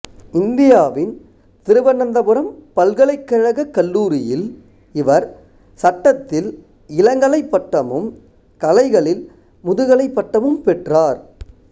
இந்தியாவின் திருவனந்தபுரம் பல்கலைக்கழக கல்லூரியில் இவர் சட்டத்தில் இளங்கலை பட்டமும் கலைகளில் முதுகலை பட்டமும் பெற்றார்